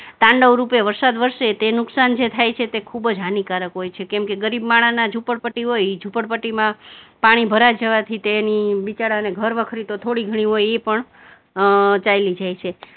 તાંડવરૂપે વરસાદ વરસે તે નુકસાન જે થાય છે તે ખુબ જ હાનિકારક હોય છે, કેમ કે ગરીબ માણાના ઝુપડપટ્ટી હોય ઈ ઝૂંપડપટ્ટીમાં પાણી ભરાઈ જવાથી તેનું બિચારાને ઘરવખરી તો થોડી ઘણી હોય ઈ પણ ચાલી જાય છે.